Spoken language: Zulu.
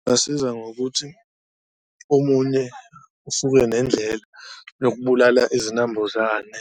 Kungasiza ngokuthi omunye usuke nendlela yokubulala izinambuzane